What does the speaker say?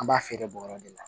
An b'a feere bɔrɔ de la